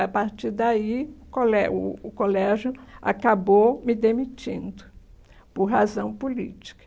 A partir daí, o colé o o colégio acabou me demitindo por razão política.